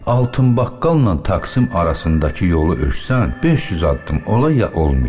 Altın baqqalla taksim arasındakı yolu ölçsən, 500 addım ola, ya olmaya.